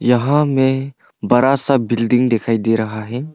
यहां में बड़ा सा बिल्डिंग दिखाई दे रहा है।